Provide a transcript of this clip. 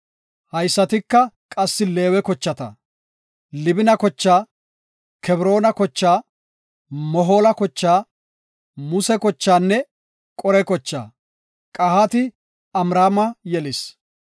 Haysatika qassi Leewe kochata; Libina kochaa, Kebroona kochaa, Mohoola kochaa, Muse kochaanne Qore kochaa. Qahaati Amraama yelis.